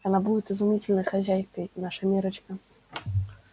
она будет изумительной хозяйкой наша миррочка